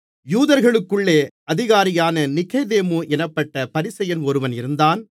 யூதர்களுக்குள்ளே அதிகாரியான நிக்கொதேமு என்னப்பட்ட பரிசேயன் ஒருவன் இருந்தான்